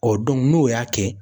Ɔ n'o y'a kɛ